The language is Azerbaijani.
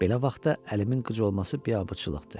Belə vaxtda əlimin qıc olması biabırçılıqdır.